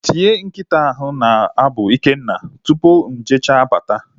Tinye nkịta ahụ na-agbụ Ikenna! Tupu mụ e jecha bata